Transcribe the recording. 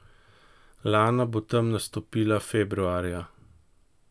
Lana bo tam nastopila februarja.